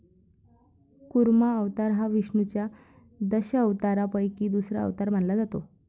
कुर्मा अवतार हा विष्णुच्या दशावतारापैकी दुसरा अवतार मानला जातो.